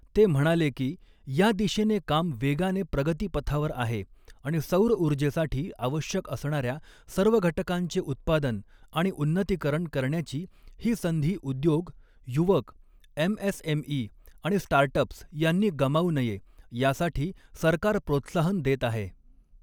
ते म्हणाले की, या दिशेने काम वेगाने प्रगतीपथावर आहे आणि सौरऊर्जेसाठी आवश्यक असणार्या सर्व घटकांचे उत्पादन आणि उन्नतीकरण करण्याची ही संधी उद्योग, युवक, एमएसएमई आणि स्टार्टअप्स यांनी गमावू नये यासाठी सरकार प्रोत्साहन देत आहे.